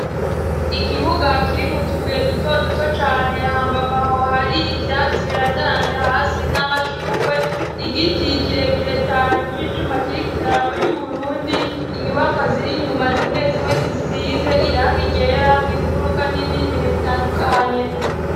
Ikibuga kiri mutubuye duto duto cane hambavu aho hari ivyatsi birandaranze hasi n'amashurwe, igiti kirekire cane c'icuma kiriko idarapo ry'uburundi, inyubako ziri inyuma zimwe zimwe zisize irangi ryera mumfuruka n'ivyinjiriro bitandukanye.